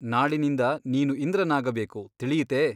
ನಾಳಿನಿಂದ ನೀನು ಇಂದ್ರನಾಗಬೇಕು ತಿಳಿಯಿತೆ ?